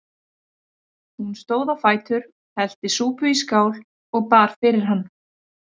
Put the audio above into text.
Hún stóð á fætur, hellti súpu í skál og bar fyrir hann.